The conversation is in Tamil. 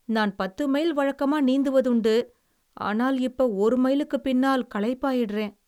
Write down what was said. நான் பத்து மைல் வழக்கமா நீந்துவதுண்டு. ஆனால் இப்ப ஒரு மைலுக்குப் பின்னால் களைப்பாயிடுறேன்.